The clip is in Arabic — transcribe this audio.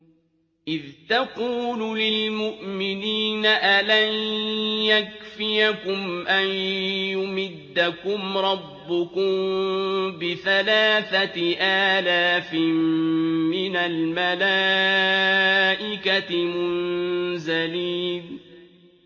إِذْ تَقُولُ لِلْمُؤْمِنِينَ أَلَن يَكْفِيَكُمْ أَن يُمِدَّكُمْ رَبُّكُم بِثَلَاثَةِ آلَافٍ مِّنَ الْمَلَائِكَةِ مُنزَلِينَ